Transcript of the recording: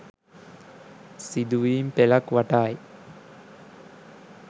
සිදුවීමි පෙළක් වටායි.